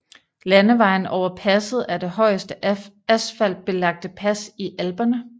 Landevejen over passet er det højeste asfaltbelagte pas i Alperne